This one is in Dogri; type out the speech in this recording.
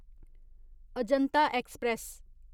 अजंता एक्सप्रेस